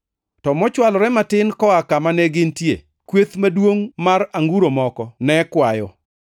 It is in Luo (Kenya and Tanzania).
To mochwalore matin koa kama negintie, kweth maduongʼ mar anguro moko ne kwayo.